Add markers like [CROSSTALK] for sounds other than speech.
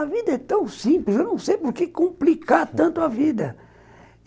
A vida é tão simples, eu não sei por que complicar tanto a vida [LAUGHS]